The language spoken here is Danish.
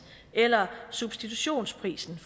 eller substitutionsprisen